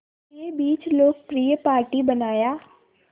के बीच लोकप्रिय पार्टी बनाया